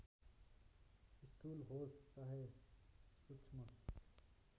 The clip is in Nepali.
स्थूल होस् चाहे सूक्ष्म